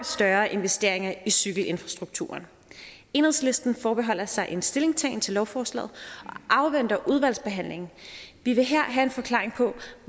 større investeringer i cykelinfrastrukturen enhedslisten forbeholder sig en stillingtagen til lovforslaget og afventer udvalgsbehandlingen vi vil her have en forklaring på